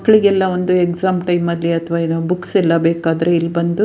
ಮಕ್ಲಿಗೆಲ್ಲ ಒಂದು exam time ನಲ್ಲಿ ಅಥವಾ ಬುಕ್ಸ್ ಎಲ್ಲ ಬೇಕಾದ್ರೆ ಇಲ್ಲಿ ಬಂದು